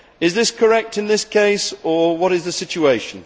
Is this correct in this case, or what is the situation?